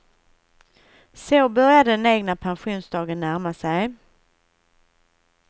Så började den egna pensionsdagen närma sig.